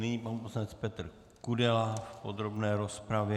Nyní pan poslanec Petr Kudela v podrobné rozpravě.